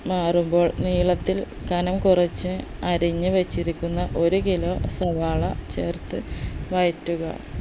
മാറുമ്പോൾ നീളത്തിൽ കനം കുറച്ച് അരിഞ്ഞ് വെച്ചിരിക്കുന്ന ഒരു kilo സവാള ചേർത്ത് വഴറ്റുക